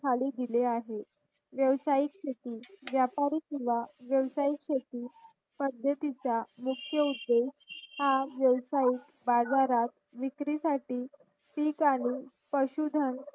खाली दिला आहे व्यावसायिक शेती व्यापारिक किंवा व्यावसायिक शेती पद्धतीचा मुक्या उद्देश हा व्यावसायिक बाजारात विक्री साठी पीक आणून पशु धन